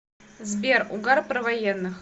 сбер угар про военных